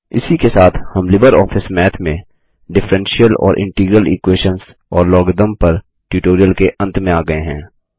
इसी के साथ हम लिबरऑफिस मैथ में डिफ्फ्रेंशियल और इंटीग्रल इक्वेशंस और लॉगरिदम पर ट्युटोरियल के अंत में आ गये हैं